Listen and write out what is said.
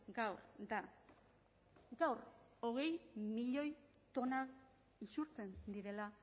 gaur da gaur hogei milioi tona isurtzen direla